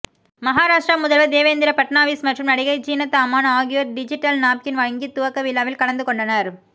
மஹாராஷ்ட்ர முதல்வர் தேவேந்திர ஃபட்னாவிஸ் மற்றும் நடிகை ஜீனத் அமான் ஆகியோர் டிஜிட்டல் நாப்கின் வங்கி துவக்க விழாவில் கலந்துகொண்டனர்